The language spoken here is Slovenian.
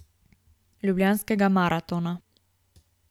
Ljubljanskega maratona.